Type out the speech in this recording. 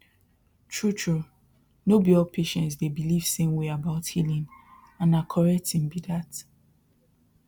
true true no be all patients dey believe same way about healing and na correct thing be that